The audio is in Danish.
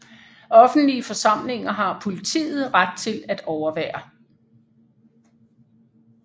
Offentlige forsamlinger har politiet ret til at overvære